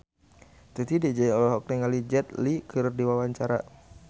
Titi DJ olohok ningali Jet Li keur diwawancara